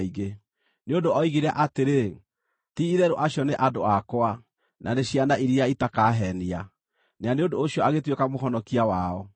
Nĩ ũndũ oigire atĩrĩ, “Ti-itherũ acio nĩ andũ akwa, na nĩ ciana iria itakaheenia,” na nĩ ũndũ ũcio agĩtuĩka Mũhonokia wao.